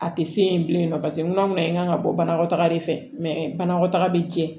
A tɛ se yen bilen paseke n'a ma ɲɛ k'an ka bɔ banakɔtaga de fɛ mɛ banakɔtaga bɛ jɛ